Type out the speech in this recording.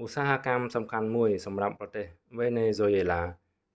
ឧស្សាហកម្មសំខាន់មួយសម្រាប់ប្រទេសវេណេហ្ស៊ុយអេឡា